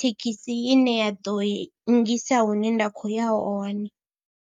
thekhisi ine ya ḓo i nngisa hune nda khou ya hone.